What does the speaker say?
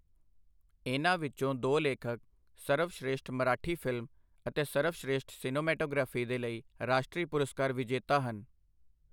ਇਨ੍ਹਾਂ ਵਿੱਚੋਂ ਦੋ ਲੇਖਕ ਸਰਵਸ਼੍ਰੇਸ਼ਠ ਮਰਾਠੀ ਫਿਲਮ ਅਤੇ ਸਰਵਸ਼੍ਰੇਸ਼ਠ ਸਿਨੇਮੈਟੋਗ੍ਰਾਫੀ ਦੇ ਲ਼ਈ ਰਾਸ਼ਟਰੀ ਪੁਰਸਕਾਰ ਵਿਜੇਤਾ ਹਨ।